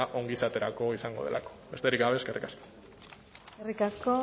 ongizaterako izango delako besterik gabe eskerrik asko eskerrik asko